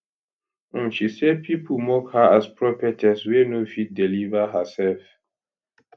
um she say pipo mock her as prophetess wey no fit deliver hersef